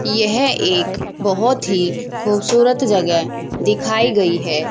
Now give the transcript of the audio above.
यह एक बहुत ही खूबसूरत जगह दिखाई गई है।